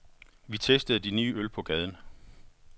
Vi testede de nye øl på gaden.